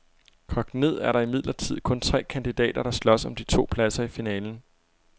Kogt ned er der imidlertid kun tre kandidater, der slås om de to pladser i finalen.